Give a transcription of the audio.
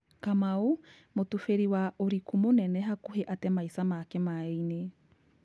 Kamau, Mũtubiri wa ũriku mũnene hakũhĩ ate maica make maĩnĩ.